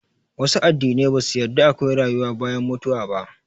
Wasu addinan ba su yarda akwai rayuwa bayan mutuwa ba